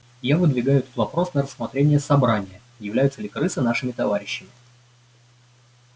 я выдвигаю этот вопрос на рассмотрение собрания являются ли крысы нашими товарищами